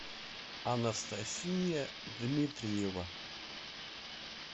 анастасия дмитриева